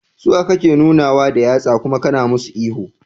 Suwa kake nunawa da yatsa kuma kana musu ihu?